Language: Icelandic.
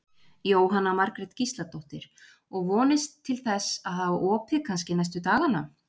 Jóhanna Margrét Gísladóttir: Og vonist til þess að hafa opið kannski næstu dagana?